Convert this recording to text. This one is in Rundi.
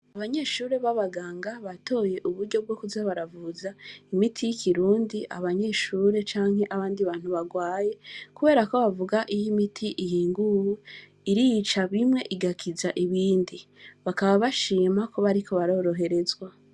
Abanyeshuri ba baganga batoye uburyo bwo kuza baravuza imiti y'ikirundi abanyeshure canke abandi bantu barwaye kubera ko bavuga iyo imiti ihiguye irica bimwe igakiza ibindi, bakaba bashima ko bariko baroroherezwa.